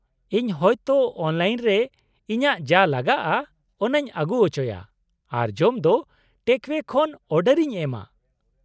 - ᱤᱧ ᱦᱚᱭᱛᱚ ᱚᱱᱞᱟᱭᱤᱱ ᱨᱮ ᱤᱧᱟᱹᱜ ᱡᱟ ᱞᱟᱜᱟᱜᱼᱟ ᱚᱱᱟᱧ ᱟᱹᱜᱩ ᱚᱪᱚᱭᱟ ᱟᱨ ᱡᱚᱢ ᱫᱚ ᱴᱮᱠᱼ ᱟᱣᱭᱮ ᱠᱷᱚᱱ ᱚᱰᱟᱨ ᱤᱧ ᱮᱢᱟ ᱾